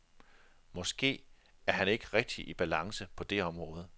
Måske er han ikke rigtig i balance på det område.